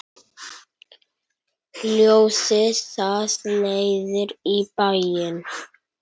Ljósið það leiðir í bæinn.